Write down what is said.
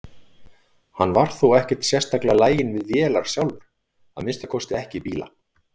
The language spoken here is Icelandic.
Hann var þó ekkert sérstaklega laginn við vélar sjálfur, að minnsta kosti ekki bíla.